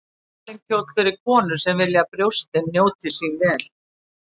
Tilvalinn kjóll fyrir konur sem vilja að brjóstin njóti sín vel.